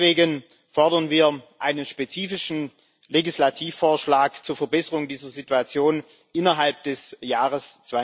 Deswegen fordern wir einen spezifischen Legislativvorschlag zur Verbesserung dieser Situation innerhalb des Jahres